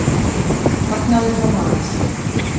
Hagnaður hjá Marel